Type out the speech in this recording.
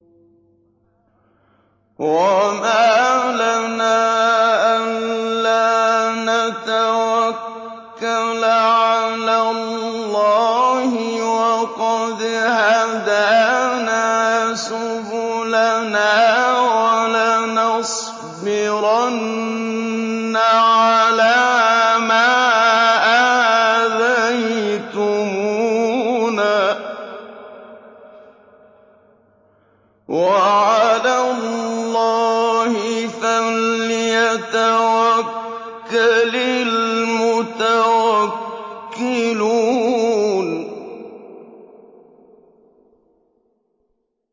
وَمَا لَنَا أَلَّا نَتَوَكَّلَ عَلَى اللَّهِ وَقَدْ هَدَانَا سُبُلَنَا ۚ وَلَنَصْبِرَنَّ عَلَىٰ مَا آذَيْتُمُونَا ۚ وَعَلَى اللَّهِ فَلْيَتَوَكَّلِ الْمُتَوَكِّلُونَ